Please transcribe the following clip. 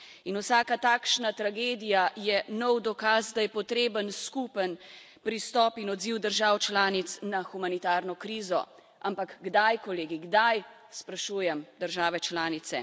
In vsaka takšna tragedija je nov dokaz, da je potreben skupen pristop in odziv držav članic na humanitarno krizo, ampak kdaj kolegi, kdaj, sprašujem države članice.